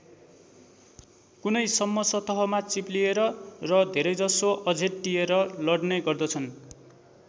कुनै सम्म सतहमा चिप्लिएर र धेरैजसो अझेट्टिएर लड्ने गर्दछन्।